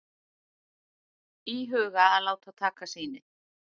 Íhuga að láta taka sýni